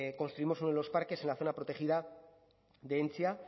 construimos uno de los parques en la zona protegida de entzia